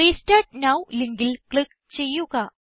restart now ലിങ്കിൽ click ചെയ്യുക